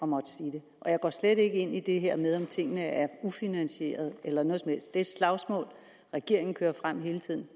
måtte sige det og jeg går slet ikke ind i det her med om tingene er ufinansierede eller noget som helst det slagsmål regeringen kører frem hele tiden